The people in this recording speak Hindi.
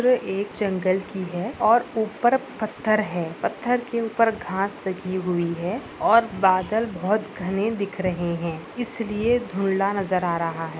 एक जंगल की है और उपर पत्थर है पत्थर के उपर घास लगी हुई है और बादल बहुत घने दिख रहे है इसलिए धुंधला नज़र आ रहा है।